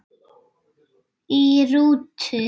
Í rútu